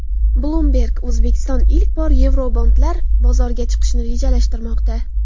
Bloomberg: O‘zbekiston ilk bor yevrobondlar bozoriga chiqishni rejalashtirmoqda.